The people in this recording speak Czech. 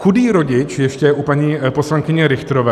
Chudý rodič - ještě u paní poslankyně Richterové.